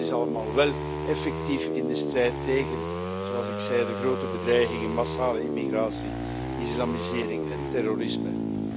Dat is allemaal wél effectief in de strijd tegen zoals ik zei de grote bedreigingen massale immigratie, islamisering en terrorisme.